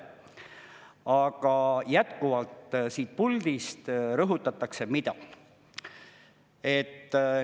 Aga jätkuvalt siit puldist rõhutatakse mida?